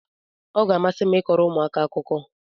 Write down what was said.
Ọ ga-amasị m ịkọrọ ụmụaka akụkọ